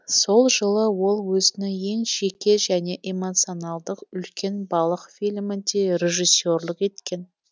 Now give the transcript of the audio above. сол жылы ол өзінің ең жеке және эмоционалдық үлкен балық фильмінде режиссерлік еткен